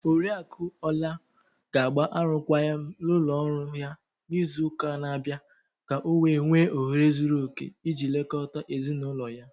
Oriakụ Ola ga-agba arụkwaghịm na ụlọ ọrụ ya n'izu ụka na-abịa ka o wee nwee ohere zuru okè iji lekọta ezi n'ụlọ ya.